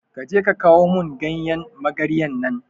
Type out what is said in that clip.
Kaje ka kawo mun ganyan magarya nan